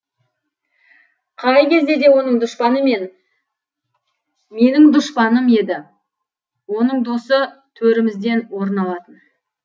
қай кезде де оның дұшпаны менің дұшпаным еді оның досы төрімізден орын алатын